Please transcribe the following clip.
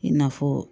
I n'a fɔ